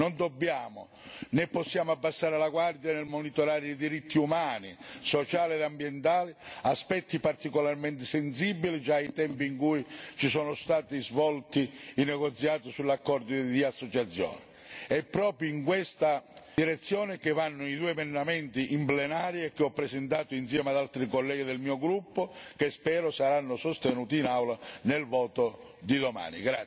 Non dobbiamo né possiamo abbassare la guardia nel monitorare i diritti umani, sociali e ambientali, aspetti particolarmente sensibili già ai tempi in cui si sono svolti i negoziati sull'accordo di associazione. È proprio in questa direzione che vanno i due emendamenti in plenaria, che ho presentato insieme ad altri colleghi del mio gruppo e che spero saranno sostenuti in Aula nel voto di domani.